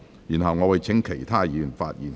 然後，我會請其他委員發言。